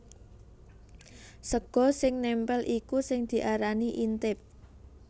Sega sing nèmpèl iku sing diarani intip